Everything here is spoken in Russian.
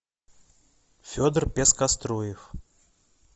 федор пескоструев